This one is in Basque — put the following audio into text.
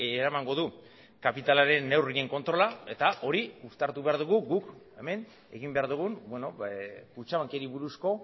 eramango du kapitalaren neurrien kontrola eta hori uztartu behar dugu guk hemen egin behar dugun kutxabanki buruzko